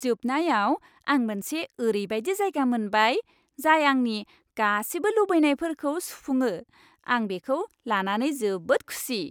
जोबनायाव, आं मोनसे ओरैबादि जायगा मोनबाय जाय आंनि गासिबो लुबैनायफोरखौ सुफुङो, आं बेखौ लानानै जोबोद खुसि।